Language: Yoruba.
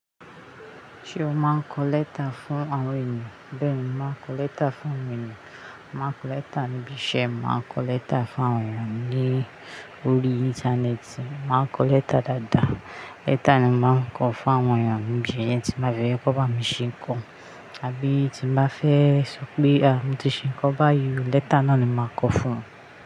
Ṣé o máa ń kọ lẹ́tà fún àwọn ènìyàn? Bẹ́ẹ̀ni, maa ń kọ lẹ́tà fún àwọn ènìyàn. Máa ń kọ lẹ́tà níbi iṣẹ́, maa ń kọ lẹ́tà fún àwọn ènìyàn ní orí Íńtánẹ́ẹ̀tì, maa ń kọ lẹ́tà dáadáa. "Letter" ni mo máa ń kọ fún àwọn ènìyàn níbi ẹ̀yẹ tí màá fẹ́ kó ba mi ṣé ń kọ, àbí tí màá fẹ́ sọ pé, "à, mo ti ṣé ń kọ báyìí "letter" náà ni màá kọ fún wọn.